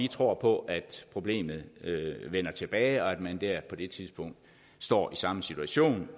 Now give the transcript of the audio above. vi tror på problemet vender tilbage og at man der på det tidspunkt står i samme situation